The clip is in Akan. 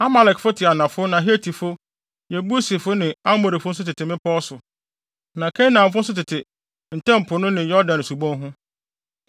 Amalekfo te anafo na Hetifo, Yebusifo ne Amorifo nso tete mmepɔw so. Na Kanaanfo nso tete Ntam Po no ne Yordan subon ho.”